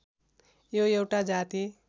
यो एउटा जाति